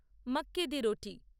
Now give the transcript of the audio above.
makki di রোটি